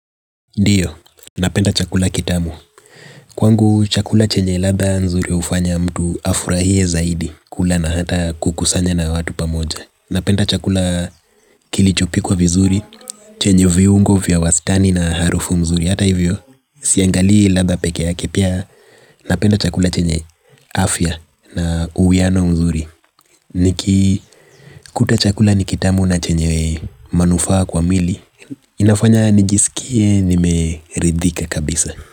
Ndio, napenda chakula kitamu. Kwangu, chakula chenye ladha nzuri hufanya mtu afurahie zaidi, kula na hata kukusanya na watu pamoja. Napenda chakula kilichopikwa vizuri, chenye viungo vya wastani na harufu mzuri. Hata hivyo, siangalii ladha pekee yake pia, napenda chakula chenye afya na uwiano mzuri. Nikikuta chakula ni kitamu na chenye manufaa kwa mwili, inafanya nijisikie nimeridhika kabisa.